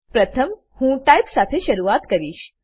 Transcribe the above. પ્રથમ હું ટાઇપ સાથે શરૂઆત કરીશ